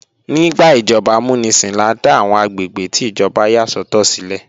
Nígbà ìjọba amúnisìn la dá àwọn àgbègbè tí ìjọba yà sọ́tọ̀ sílẹ̀